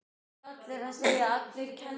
Hann er nógu gáfaður til að gera það ekki.